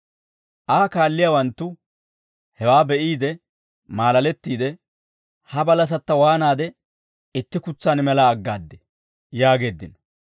Aa kaalliyaawanttu hewaa be'iide maalalettiide, «Ha balasatta waanaade itti kutsaan mela aggaaddee?» yaageeddino.